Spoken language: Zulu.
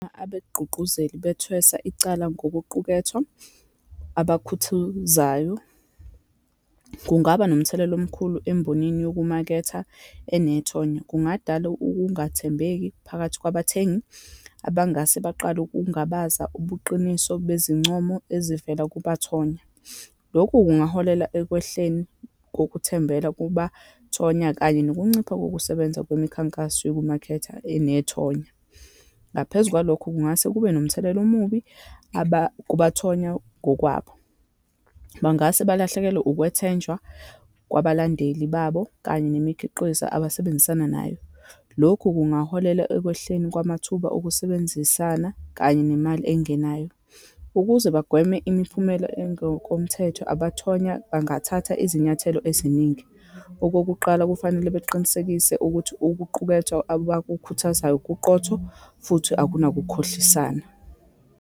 Abegqugquzeli bethweswa icala ngokuqukethwa abakhuthuzayo, kungaba nomthelela omkhulu embonini yokumaketha enethonya, kungadala ukungathembeki phakathi kwabathengi abangase baqale ukungabaza ubuqiniso bezincomo ezivela kubathonya. Lokhu kungaholela ekwehleni kokuthembela kubathonya, kanye nokuncipha kokusebenza kwemikhankaso yokumaketha enethonya. Ngaphezu kwalokho, kungase kube nomthelela omubi kubathonywa ngokwabo. Bangase balahlekelwe ukwethenjwa kwabalandeli babo, kanye nemikhiqizo abasebenzisana nayo. Lokhu kungaholela ekwehleni kwamathuba okusebenzisana, kanye nemali engenayo. Ukuze bagweme imiphumela engokomthetho, abathonya bangathatha izinyathelo eziningi. Okokuqala, kufanele baqinisekise ukuthi ukuqukethwa abakukhuthazayo kuqotho, futhi akunakukhohlisana.